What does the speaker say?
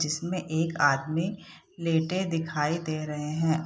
जिसमें एक आदमी लेटे दिखाई दे रहें हैं।